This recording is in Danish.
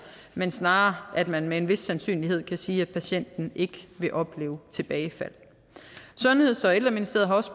men snarere at man med en vis sandsynlighed kan sige at patienten ikke vil opleve tilbagefald sundheds og ældreministeriet har også